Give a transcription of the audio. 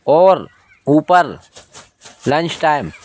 और ऊपर lunch time --